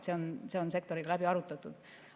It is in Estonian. See on sektoriga läbi arutatud.